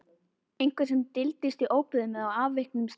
Einhver sem dyldist í óbyggðum eða á afviknum stað.